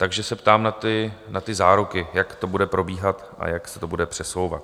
Takže se ptám na ty záruky, jak to bude probíhat a jak se to bude přesouvat?